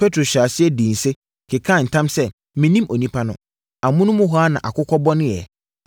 Petro hyɛɛ aseɛ dii nse, kekaa ntam sɛ, “Mennim onipa no!” Amonom hɔ ara na akokɔ bɔneeɛ.